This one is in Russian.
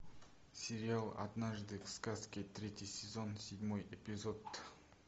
сериал однажды в сказке третий сезон седьмой эпизод